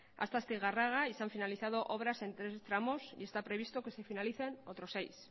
hasta astigarraga y se han finalizado obras en tres tramos y está previsto que se finalicen otros seis